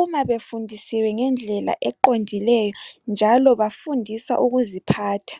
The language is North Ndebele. uma befundisiwe ngendlela eqondileyo njalo bafundiswa ukuziphatha.